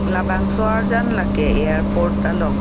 labangso arjan lake airport along.